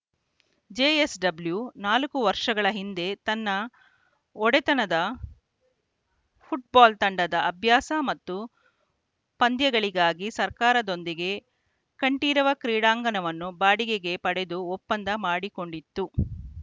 JSW ನಾಲ್ಕು ವರ್ಷಗಳ ಹಿಂದೆ ತನ್ನ ಒಡೆತನದ ಫುಟ್ಬಾಲ್‌ ತಂಡದ ಅಭ್ಯಾಸ ಮತ್ತು ಪಂದ್ಯಗಳಿಗಾಗಿ ಸರ್ಕಾರದೊಂದಿಗೆ ಕಂಠೀರವ ಕ್ರೀಡಾಂಗಣವನ್ನು ಬಾಡಿಗೆಗೆ ಪಡೆದು ಒಪ್ಪಂದ ಮಾಡಿಕೊಂಡಿತ್ತು